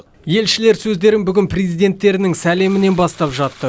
елшілер сөздерін бүгін президенттерінің сәлемінен бастап жатты